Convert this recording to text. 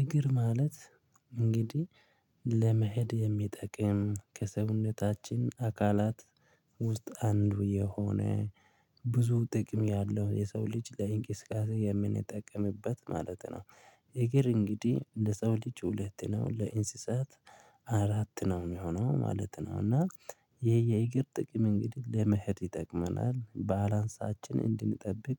እግር ማለት እንግዲህ ለመሄድ የሚጠቅም ከሰውነታችን አካላት ውስጥ አንዱ የሆነ ብዙ ጥቅም ያለው የሰው ልጅ ለእንቅስቃሴ የምንጠቀምበት ማለት ነው። እግር እንግዲህ ለሰው ልጅ ሁለት ነው ለእንስሳት አራት ነው የሚሆነው ማለት ነው። እና የየእግር ጥቅም እንግዲህ ለመሄድ ይጠቅመናል ባላንሳችንን እንድንጠብቅ